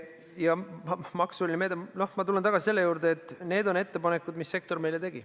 Ja maksumeede – no ma tulen tagasi selle juurde, et need on ettepanekud, mis sektor meile tegi.